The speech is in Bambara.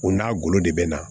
U n'a golo de bɛ na